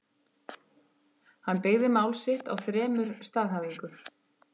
Hann byggði mál sitt á þremur staðhæfingum.